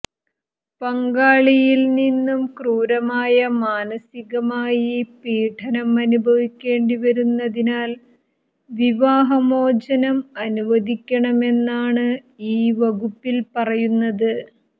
പങ്കാളിയിൽ നിന്നും ക്രൂരമായ മാനസികമായി പീഡനം അനുഭവിക്കേണ്ടി വരുന്നതിനാൽ വിവാഹമോചനം അനുവദിക്കണമെന്നാണ് ഈ വകുപ്പിൽ പറയുന്നത്